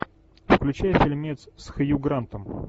включай фильмец с хью грантом